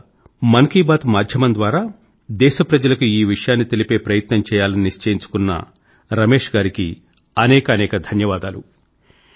ముందుగా మన్ కీ బాత్ మాధ్యమం ద్వారా దేశ ప్రజల కు ఈ విషయాన్ని తెలిపే ప్రయత్నం చేయాలని నిశ్చయించుకున్న రమేష్ గారికి అనేకానేక ధన్యవాదాలు